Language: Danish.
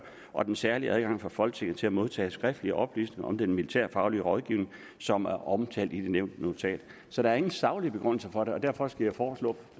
og den særlige adgang for folketinget til at modtage skriftlige oplysninger om den militærfaglige rådgivning som er omtalt i det nævnte notat så der er ingen saglige begrundelser for det og derfor skal jeg foreslå